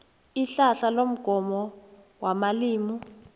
itlhatlha lomgomo wamalimi